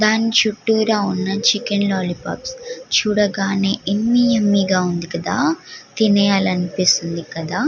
దాన్ని చుట్టురా ఉన్న చికెన్ లొల్లిపోప్స్ యుమ్మ్య్ యుమ్మ్య్ గ ఉంది కదా తినేయాలి అనిపిస్తుంది కదా .